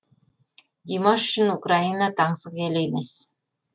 димаш үшін украина таңсық ел емес